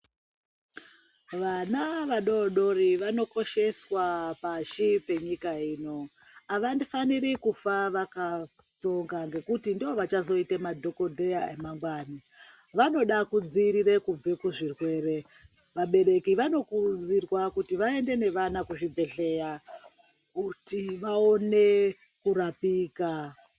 Vana vadodori vanokosheswa pashi penyika ino. Havafaniri kufa vaka..tsonga ngekuti ndivo vachazoita madhokodheya emangwani. Vanoda kudziirire kubve kuzvirwere. Vabereki vanokurudzirwa kuti vaende nevana kuzvibhedhleya kuti vaone kurapika.